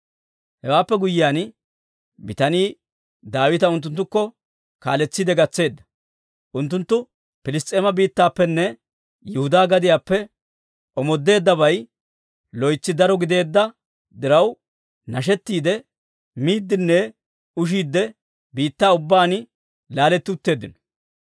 Hewaappe guyyiyaan, bitanii Daawita unttunttukko kaaletsiide gatseedda. Unttunttu Piliss's'eeme biittaappenne Yihudaa gadiyaappe omoodeeddabay loytsi daro gideedda diraw, nashettiidde miiddinne ushiidde biittaa ubbaan laaletti utteeddino.